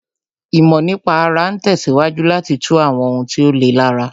Ìmọ̀ nípa ara ń tẹ̀síwájú láti tú àwọn ohun tí ó le lára